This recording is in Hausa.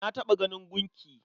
Na taɓa ganin gunki.